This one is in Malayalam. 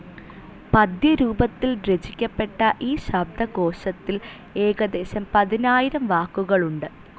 പദ്യരൂപത്തിൽ രചിക്കപ്പെട്ട ഈ ശബ്ദകോശത്തിൽ ഏകദേശം പതിനായിരം വാക്കുകളുണ്ട്.